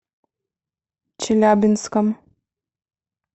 челябинском